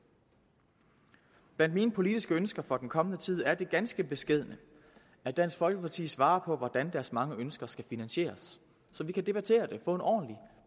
blandt mine politiske ønsker for den kommende tid er det ganske beskedne at dansk folkeparti svarer på hvordan deres mange ønsker skal finansieres så vi kan debattere det og få en ordentlig